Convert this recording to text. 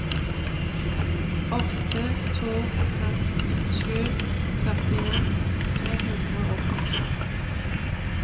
åtte to seks sju førtien tre hundre og åttiåtte